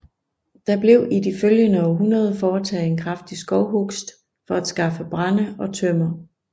Der blev i de følgende århundreder foretaget en kraftig skovhugst for at skaffe brænde og tømmer